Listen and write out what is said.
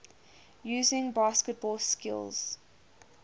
using basketball skills